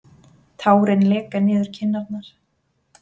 Tárin leka niður kinnarnar.